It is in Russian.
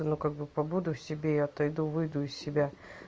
ну как бы побуду в себе отойду и выйду из себя